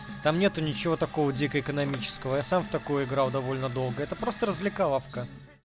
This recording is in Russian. там нету ничего такого дикой экономического я сам в такое играл довольно долго это просто развлекаловка